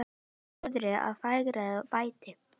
Hlúði að, fegraði og bætti.